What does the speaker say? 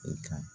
I ka